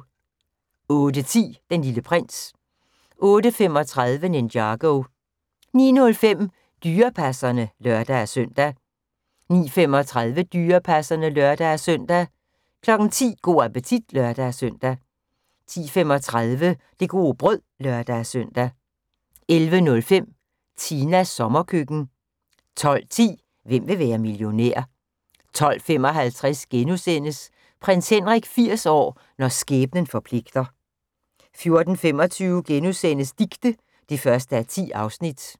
08:10: Den Lille Prins 08:35: Ninjago 09:05: Dyrepasserne (lør-søn) 09:35: Dyrepasserne (lør-søn) 10:00: Go' appetit (lør-søn) 10:35: Det gode brød (lør-søn) 11:05: Tinas sommerkøkken 12:10: Hvem vil være millionær? 12:55: Prins Henrik 80 år – når skæbnen forpligter * 14:25: Dicte (1:10)*